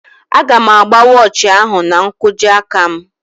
Aga m agba wọochi ahụ n'nkwojiaka m